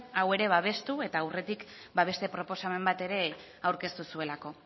hau ere babestu eta aurretik beste proposamen bat ere aurkeztu zuelako